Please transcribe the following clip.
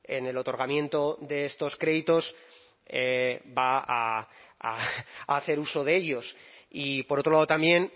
en el otorgamiento de estos créditos va a hacer uso de ellos y por otro lado también